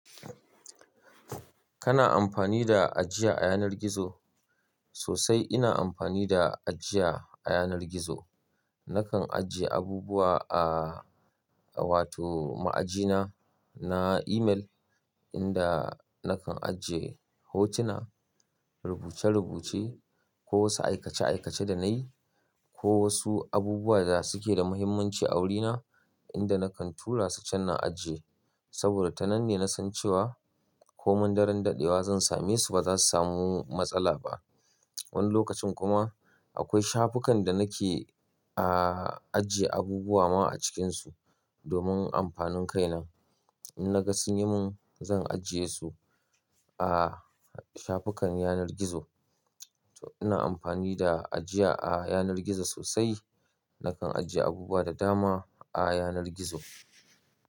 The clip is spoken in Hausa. Kana amfani da ajiya a yanar gizo? Sosai ina amfani da ajiya a yanar gizo. Nakan ajiye abubuwa ah wato ma'ajina na email inda nakan ajiye hotuna, rubuce-rubuce ko wasu aikace-aikace da nayi ko wasu abubuwa da suke da muhimmanci a wurina inda nakan turasu Chan na ajiye. Saboda tananne na san cewa ko mun daren daɗewa zan same su ba za su samu matsala ba. Wani lokacin kuma akwai shafukan da nake ah, ajiye abubuwa ma a cikinsu domin amfanin kai na. In naga sun yi mun zan ajiye su a shafukan yanar gizo. To ina amfani da ajiya a yanar gizo sosai. Nakan ajiye abubuwa da dama a yanar gizo.